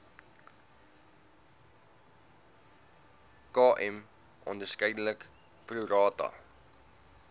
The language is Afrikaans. km onderskeidelik prorata